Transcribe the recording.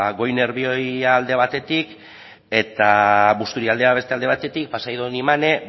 goi nerbioi alde batetik eta busturialdea beste alde batetik pasaia donibane